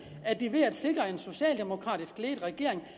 at de ved at sikre en socialdemokratisk ledet regering